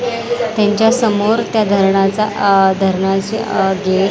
त्यांच्यासमोर त्या धरणाचा अह धरणाचे अह गे --